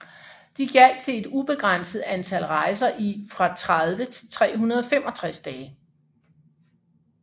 De gjaldt til et ubegrænset antal rejser i fra 30 til 365 dage